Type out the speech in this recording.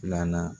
Filanan